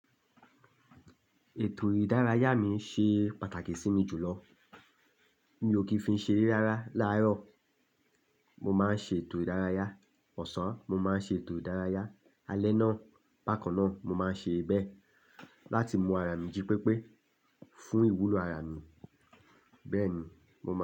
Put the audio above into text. Ètò ìdárayá mi ṣe pàtàkì sí mi jùlọ. Mi ò kí ń fi ṣere rárá. Lárọ̀, mo máa ń ṣe ètò ìdárayá, ọ̀sán, mo máa ń ṣe ètò ìdárayá, alẹ́ náà, bá kan náà, mo máa ń ṣe bẹ́ẹ̀ láti mú ara mi jí pépé fún ìwúlò ara mi. Bẹ́ẹ̀ ni, mo máa ń.